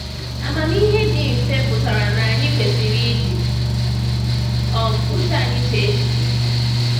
Amamihe dị mfe pụtara na anyị kwesịrị iji um uche anyị chee echiche.